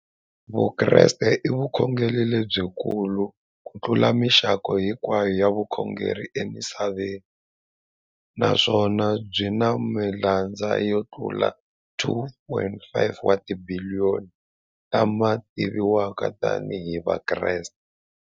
Vukreste i vukhongeri lebyi kulu kutlula mixaka hinkwayo ya vukhongeri emisaveni, naswona byi na malandza yo tlula 2.4 wa tibiliyoni, la ma tiviwaka tani hi Vakreste.